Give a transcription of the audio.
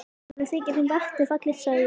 Honum þykir vatnið fallegt sagði ég.